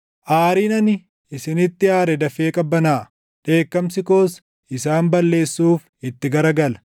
Aariin ani isinitti aare dafee qabbanaaʼa; dheekkamsi koos isaan balleessuuf itti garagala.”